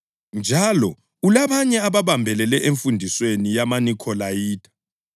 Njalo ulabanye ababambelele emfundisweni yamaNikholayitha.